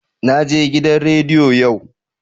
Naje gidan rediyo yau.